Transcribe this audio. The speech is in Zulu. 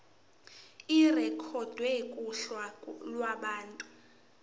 irekhodwe kuhla lwabantu